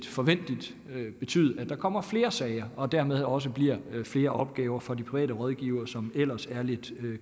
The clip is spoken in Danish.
forventeligt betyde at der kommer flere sager og dermed også bliver flere opgaver for de private rådgivere som ellers er lidt